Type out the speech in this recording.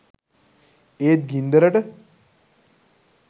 ඒත් ගින්දරට